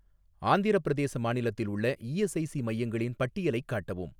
ஆந்திரப் பிரதேச மாநிலத்தில் உள்ள இஎஸ்ஐஸி மையங்களின் பட்டியலைக் காட்டவும்.